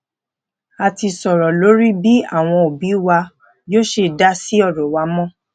a ti soro lori bi àwọn obi wa yoo ṣe dasi oro wa mo